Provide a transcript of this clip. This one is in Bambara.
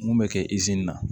Mun bɛ kɛ na